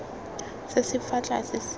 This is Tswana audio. se se fa tlase se